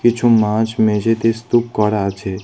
কিছু মাছ মেঝেতে স্তুপ করা আছে।